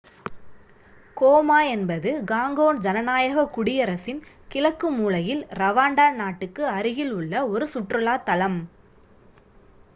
coma என்பது Congo ஜனநாயகக் குடியரசின் கிழக்கு மூலையில் ரவாண்டா நாட்டுக்கு அருகில் உள்ள ஒரு சுற்றுலாத்தலம்